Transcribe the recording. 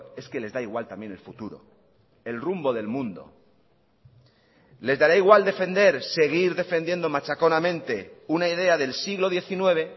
es que les da igual también el futuro el rumbo del mundo les dará igual defender seguir defendiendo machaconamente una idea del siglo diecinueve